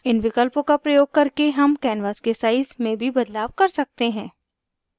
इन विकल्पों का प्रयोग करके हम canvas के size में भी बदलाव कर सकते हैं